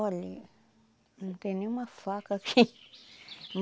Olha, não tem nenhuma faca aqui.